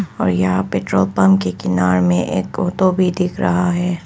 और यहां पर पेट्रोल पंप के किनार में एक टोटो भी दिख रहा हैं।